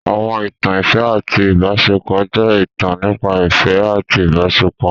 Àwọn ìtàn ìfẹ́ àti ìbáṣepọ̀ jẹ́ ìtàn nípa ìfẹ́ àti ìbáṣepọ̀.